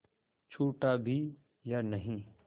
छूटा भी या नहीं